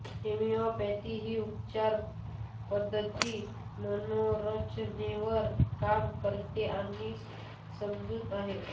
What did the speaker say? homeopathy ही उपचार पद्धती मनोरचनेवर काम करते अशी समजूत आहे